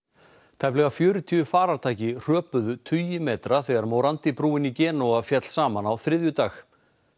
tæplega fjörutíu farartæki hröpuðu tugi metra þegar morandi brúin í Genúa féll saman á þriðjudag